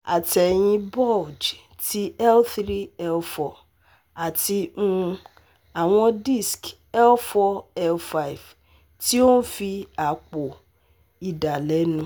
Atẹyin bulge ti L three-L four ati um awọn disc L four-L five ti o nfi apo idalẹnu